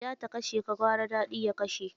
Da wuya ta kashe ka, gwara daɗi ya kashe.